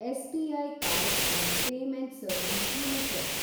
SBI cards and payment service limited